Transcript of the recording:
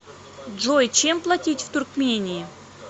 джой чем платить в туркмении